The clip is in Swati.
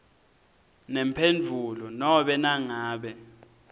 nemphendvulo nobe nangabe